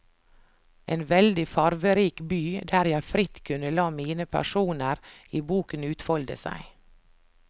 En veldig farverik by, der jeg fritt kunne la mine personer i boken utfolde seg.